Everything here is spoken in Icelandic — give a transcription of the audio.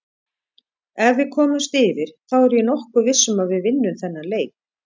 Ef við komumst yfir þá er ég nokkuð viss um að við vinnum þennan leik.